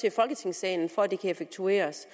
i folketingssalen for at det kan effektueres